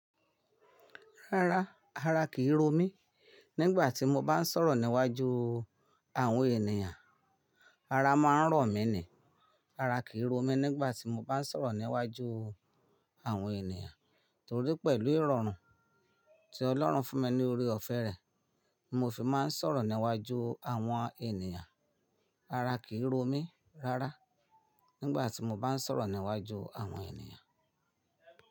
Rárá, ara kìí ro mí nígbà tí mo bá ń sọ̀rọ̀ níwájú àwọn ènìyàn. Ara máa ń rọ̀ mí ni. Ara kìí ro mí nígbà tí mo bá ń sọ̀rọ̀ níwájú àwọn ènìyàn, torí pẹ̀lú ìrọ̀rùn tí Ọlọ́run fún mi ní orí ọ̀fẹ́ rẹ, mo fi máa ń sọ̀rọ̀ níwájú àwọn ènìyàn. Ara kìí ro mí rárá nígbà tí mo bá ń sọ̀rọ̀ níwájú àwọn ènìyàn.